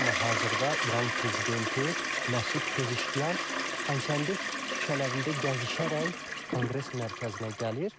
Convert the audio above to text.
Amma hazırda İran prezidenti Məsud Pezeşkiyan Xankəndi küçələrində gəzişərək Konqres Mərkəzinə gəlir.